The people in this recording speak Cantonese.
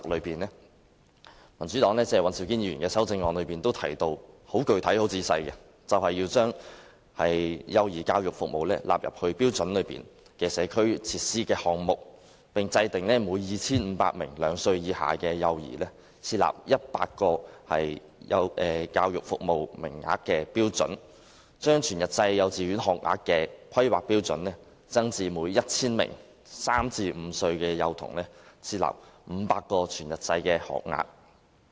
民主黨尹兆堅議員的修正案具體提到，要將幼兒教育服務納入《規劃標準》的社區設施項目，並制訂每 2,500 名兩歲以下幼兒設100個教育服務名額的標準；把全日制幼稚園學額的規劃標準，增至每 1,000 名3歲至5歲幼童設500個全日制學額。